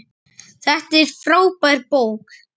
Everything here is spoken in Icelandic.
Þetta er frábær bók.